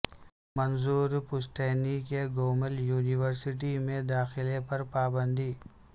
منظور پشتین کے گومل یونیورسٹی میں داخلے پر پابندی